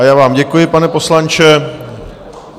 A já vám děkuji, pane poslanče.